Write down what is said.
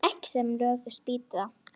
Ekki sem lökust býti það.